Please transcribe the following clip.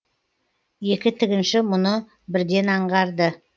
екі тігінші мұны бірден аңғарды